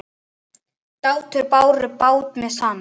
Dátar báru bát með sann.